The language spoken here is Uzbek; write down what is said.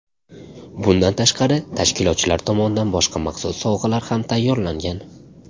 Bundan tashqari, tashkilotchilar tomonidan boshqa maxsus sovg‘alar ham tayyorlangan.